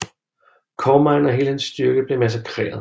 Comine og hele hans styrke blev massakreret